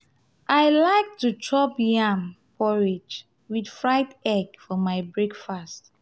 i like to chop yam porridge with fried egg for my best breakfast.